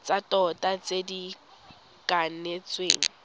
tsa tota tse di kanetsweng